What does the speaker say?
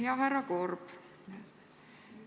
Hea härra Korb!